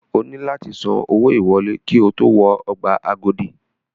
O nílò láti san owó ìwọlé ki o tó wọ ọgbà Agodi.